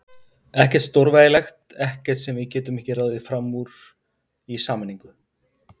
Ekkert stórvægilegt, ekkert sem við getum ekki ráðið fram úr í sameiningu.